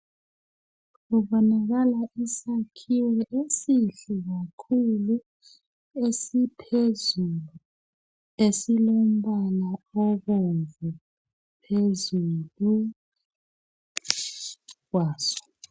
Kubonakala isakhiwo esihle kakhulu esiphezulu esilombala obomvu phezulu kwaso.